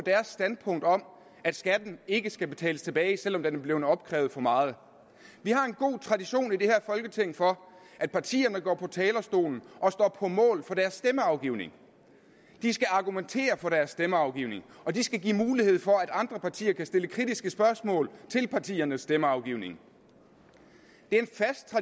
standpunkt om at skatten ikke skal betales tilbage selv om der er blevet opkrævet for meget vi har en god tradition i det her folketing for at partierne går på talerstolen og står på mål for deres stemmeafgivning de skal argumentere for deres stemmeafgivning og de skal give mulighed for at andre partier kan stille kritiske spørgsmål til partiernes stemmeafgivning